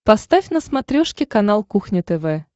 поставь на смотрешке канал кухня тв